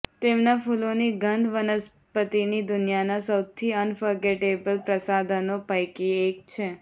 તેમના ફૂલોની ગંધ વનસ્પતિની દુનિયાના સૌથી અનફર્ગેટેબલ પ્રસાધનો પૈકી એક છે